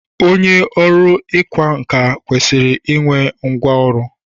Onye ọrụ ịkwa nkà kwesịrị i nwe ngwa ọrụ.